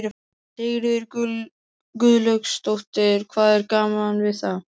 Sigríður Guðlaugsdóttir: Hvað er gaman við það?